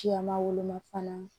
Cilama woloma fana